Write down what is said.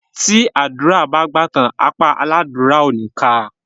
Tí àdúrà bá gbà tán, apá aládúrà ò ní ká a.